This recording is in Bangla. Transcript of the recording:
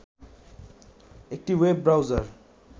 একটি ওয়েব ব্রাউজার